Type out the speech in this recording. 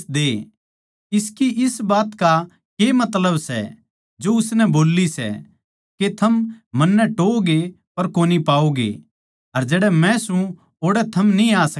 इसकी इस बात का के मतलब सै जो उसनै बोल्ली सै के थम मन्नै टोहओगे पर कोनी पाओगे अर जड़ै मै सूं ओड़ै थम न्ही आ सकदे